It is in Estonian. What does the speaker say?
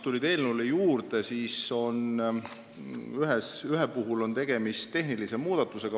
Ühe muudatusettepaneku puhul on tegemist tehnilise muudatusega.